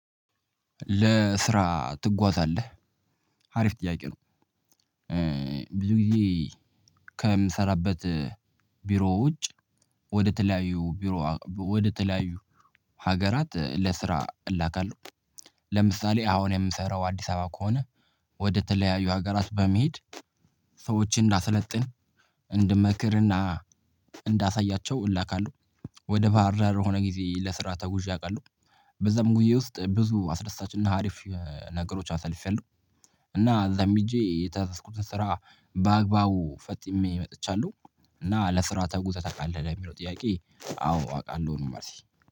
ለስራ ትጓዛለህ አሪፍ ጥያቄ ነው። ብዙ ጊዜ ከምሰራበት ቢሮ ውጭ ወደ ተለያዩ ቢሮ ወደ ተለያዩ ሀገራት ለስራ እላካለሁ። ለምሳሌ አሁን የምሰራው አዲስ አበባ ከሆነ ወደ ተለያዩ ሀገራት በመሄድ ሰዎችን እንዳሰለጥን እንድመክርና እንዳሳያቸው እላካለሁ። ወደ ባህር ዳር ሆነ ጊዜ ለስራ ተጉዣ አውቃለሁ። በዛም ጉዞዬ ውስጥ ብዙ አስደሳችና አሪፍ ነገሮች አሳልፊያለሁ። እና እዛም ሄጄ የተዘዝኩትን ስራ በአግባቡ ፈጥሜ መጥቻለሁ። እና ለስራ ተጉዘህ ታቃለህ ለሚለው ጥያቄ አዎ አቃለሁ ነው መልሴ